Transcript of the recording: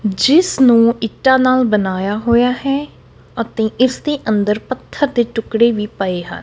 ਜਿਸ ਨੂੰ ਇੱਟਾਂ ਨਾਲ ਬਣਾਇਆ ਹੋਇਆ ਹੈ ਅਤੇ ਇਸ ਦੇ ਅੰਦਰ ਪੱਥਰ ਦੇ ਟੁਕੜੇ ਵੀ ਪਏ ਹਨ।